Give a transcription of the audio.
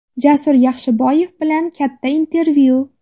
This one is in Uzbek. Jasur Yaxshiboyev bilan katta intervyu.